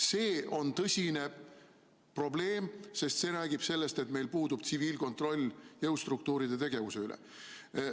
See on tõsine probleem, sest see räägib sellest, et meil puudub tsiviilkontroll jõustruktuuride tegevuse üle.